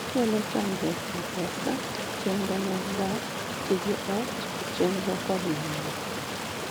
Okelo chandruok e pesa, chenro mag dak, tije ot, chenro kod mamoko